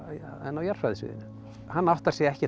jarðfræðisviðinu hann áttar sig ekkert á